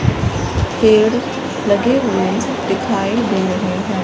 पेड़ लगे हुएं दिखाई दे रहें हैं।